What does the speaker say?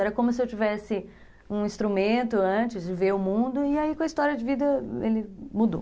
Era como se eu tivesse um instrumento antes de ver o mundo e aí com a história de vida ele mudou.